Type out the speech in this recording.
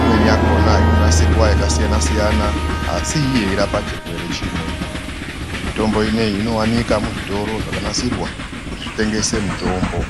Imweni yakhona inonasirwa zvakasiyana-siyana, asi yeirapa chirwere chimwe. Mitombo ineyi inowanika muzvitoro zvakanasirwa kuti zvitengese mitombo.